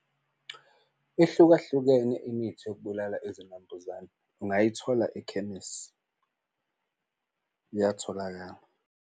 Ihlukahlukene imithi yokubulala izinambuzane ungayithola ekhemisi, uyatholakala.